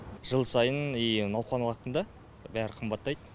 жыл сайын и науқан уақытында бәрі қымбаттайды